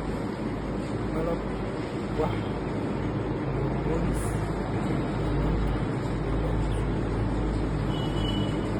malab, wax, propolis, iyo manka oo leh suuq weyn